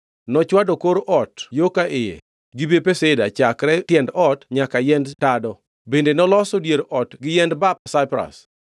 Nochwado kor ot yo ka iye gi bepe sida chakre tiend ot nyaka yiend tado, bende noloso dier ot gi yiend bap Saipras.